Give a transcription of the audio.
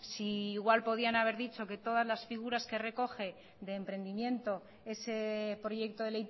si igual podían haber dicho que todas las figuras que recoge de emprendimiento ese proyecto de